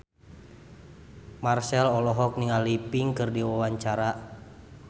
Marchell olohok ningali Pink keur diwawancara